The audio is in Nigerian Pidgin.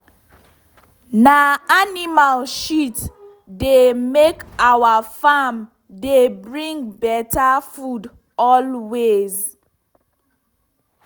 na animal shit dey make our farm dey bring better food always.